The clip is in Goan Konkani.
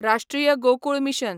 राष्ट्रीय गोकूळ मिशन